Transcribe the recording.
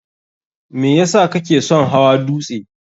me yesa kake son hawa dutse?